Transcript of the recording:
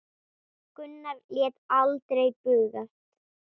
Gunnar lét aldrei bugast.